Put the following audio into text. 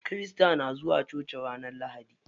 Kirista na zuwa coci ranar lahadi.